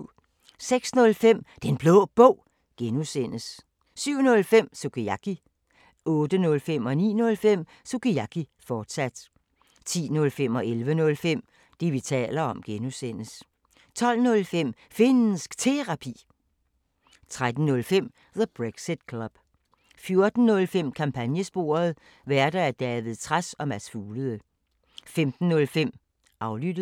06:05: Den Blå Bog (G) 07:05: Sukiyaki 08:05: Sukiyaki, fortsat 09:05: Sukiyaki, fortsat 10:05: Det, vi taler om (G) 11:05: Det, vi taler om (G) 12:05: Finnsk Terapi 13:05: The Brexit Club 14:05: Kampagnesporet: Værter: David Trads og Mads Fuglede 15:05: Aflyttet